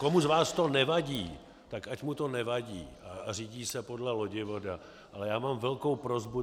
Komu z vás to nevadí, tak ať mu to nevadí a řídí se podle lodivoda, ale já mám velkou prosbu.